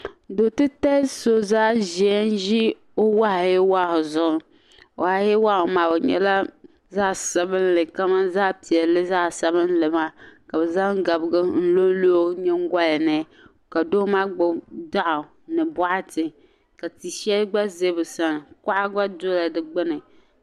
Do' titali so n ʒi o wahu yee wahu zuɣu wahu yee wahu maa o nyɛla zaɣ'sabinli kamani zaɣ'piɛla zaɣ'sabinli ka zaŋ gabiga n lo lo o ningoli ni ka doo maa gbubi daɣu ni boɣati ka ti shɛli gba ze bi sani kuɣa gba dola di gbunni